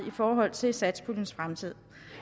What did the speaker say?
i forhold til satspuljens fremtid